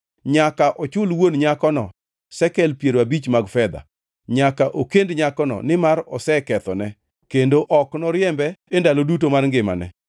nyaka ochul wuon nyakono sekel piero abich mar fedha. Nyaka okend nyakono nimar osekethone, kendo ok noriembe e ndalo duto mar ngimane.